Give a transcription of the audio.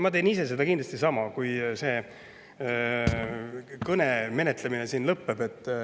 Ma teen ise kindlasti sama, kui selle menetlemine siin lõpeb.